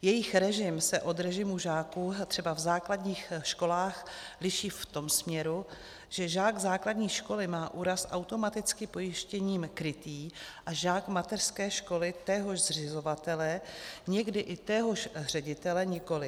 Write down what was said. Jejich režim se od režimu žáků třeba v základních školách liší v tom směru, že žák základní školy má úraz automaticky pojištěním krytý a žák mateřské školy téhož zřizovatele, někdy i téhož ředitele, nikoliv.